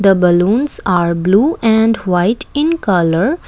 a balloons are blue and white in colour.